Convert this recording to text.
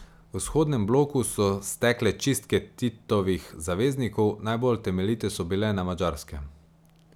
V vzhodnem bloku so stekle čistke Titovih zaveznikov, najbolj temeljite so bile na Madžarskem.